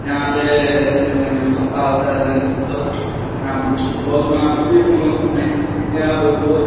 यहाँ पे का होता है यहाँ पे बहुत सारे यहाँ पे बहुत --